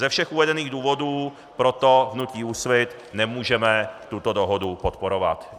Ze všech uvedených důvodů proto v hnutí Úsvit nemůžeme tuto dohodu podporovat.